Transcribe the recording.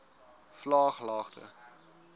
vlaaglagte